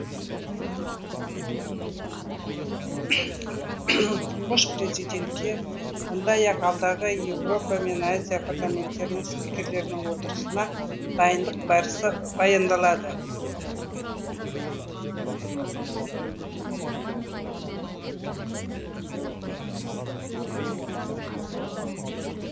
тұңғыш президентке сондай ақ алдағы еуропа мен азия парламенттері спикерлерінің отырысына дайындық барысы баяндалды